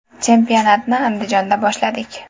Chempionatni Andijonda boshladik.